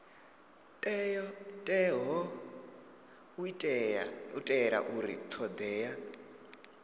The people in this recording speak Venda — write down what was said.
teaho u itela uri thodea